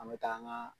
An bɛ taa an ka